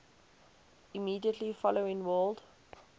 immediately following world